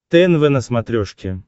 тнв на смотрешке